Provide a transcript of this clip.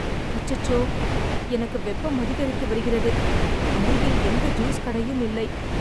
அச்சச்சோ, எனக்கு வெப்பம் அதிகரித்து வருகிறது, அருகில் எந்த ஜூஸ் கடையும் இல்லை.